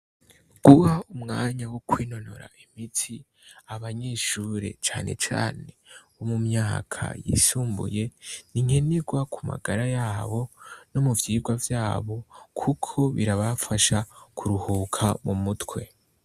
Ng'uyu wa mwanya wo kwinonora imitsi, abanyeshure cane cane bo mu myaka yisumbuye, ni nkenerwa ku magara yabo no mu vyirwa vyabo kuko birabafasha kuruhuka mu mutwe.